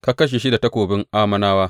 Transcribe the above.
Ka kashe shi da takobin Ammonawa.